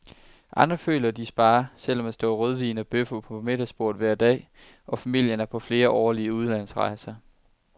Andre føler, de sparer, selv om der står rødvin og bøffer på middagsbordet hver dag, og familien er på flere årlige udlandsrejser.